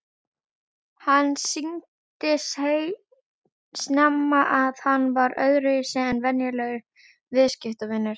Hann sýndi snemma að hann var öðruvísi en venjulegur viðskiptavinur.